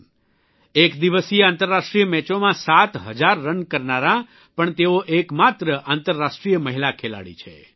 one day international એકદિવસીય આંતરરાષ્ટ્રીય મેચોમાં સાત હજાર રન કરનારાં પણ તેઓ એકમાત્ર આંતરરાષ્ટ્રીય મહિલા ખેલાડી છે